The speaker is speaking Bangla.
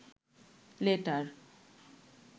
লেটার